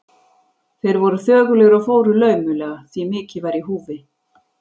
Þeir voru þögulir og fóru laumulega, því mikið var í húfi.